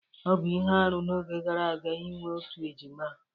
Ọ bụ ihe arụ n'oge gara aga inwe otu ejima